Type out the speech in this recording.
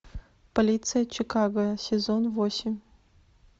полиция чикаго сезон восемь